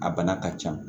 A bana ka ca